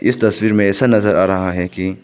इस तस्वीर में ऐसा नजर आ रहा है कि--